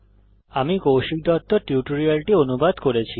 আমি কৌশিক দত্ত এই টিউটোরিয়ালটি অনুবাদ করেছি